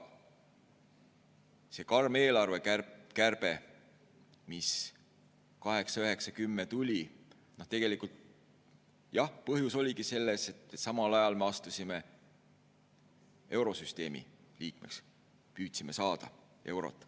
See karm eelarvekärbe, mis 2008, 2009, 2010 tuli – tegelikult jah, selle põhjus oligi selles, et samal ajal me astusime eurosüsteemi liikmeks, püüdsime saada eurot.